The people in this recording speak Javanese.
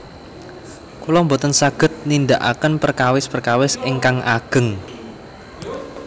Kula boten saged nindakaken perkawis perkawis ingkang ageng